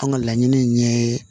An ka laɲini ye